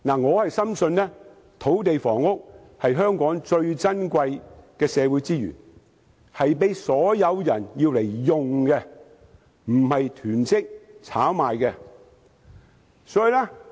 我深信土地房屋是香港最珍貴的社會資源，應供所有市民使用而不是作囤積或炒賣用途。